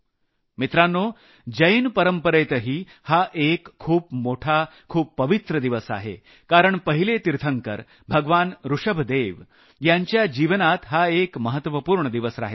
मित्रांनो जैन परंपरेतही हा एक खूप पवित्र दिवस आहे कारण पहिले तीर्थंकर भगवान ऋषभदेव यांच्या जीवनात हा एक महत्वपूर्ण दिवस राहिला आहे